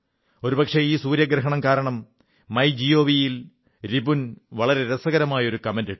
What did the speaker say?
ഒരു പക്ഷേ ഈ സൂര്യഗ്രഹണം കാരണം മൈജിഒവി യിൽ രിപുൻ വളരെ രസകരമായ ഒരു കമന്റ് ഇട്ടു